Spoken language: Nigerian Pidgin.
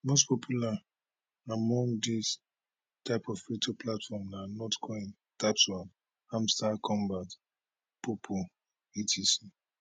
most popular among dis types of crypto platforms na notcoin tapswap hamstar kombat poppo etc